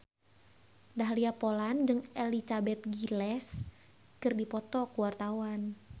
Dahlia Poland jeung Elizabeth Gillies keur dipoto ku wartawan